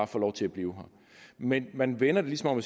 få lov til at blive men man vender det ligesom om